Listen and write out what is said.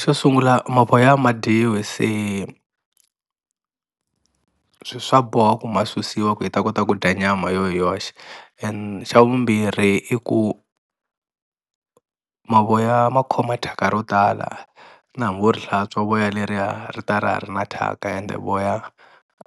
Xo sungula mavoya a ma dyiwi se swa boha ku ma susiwa ku hi ta kota ku dya nyama yo hi yoxe, and xa vumbirhi i ku mavoya ma khoma thyaka ro tala na hambi wo ri hlantswa voya leriya ri ta ra ha ri na thyaka ende voya